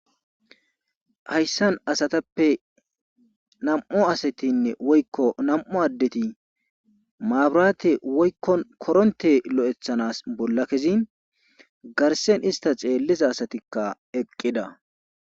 hayssan asatappe nam7u asatinne woykko nam7u addeti maaburaate woykko koronte lo7ethanas bolla kezin garsen ista xeelliza asatikka eqqida